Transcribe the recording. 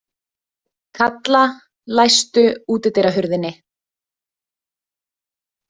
Kalla, læstu útidyrahurðinni.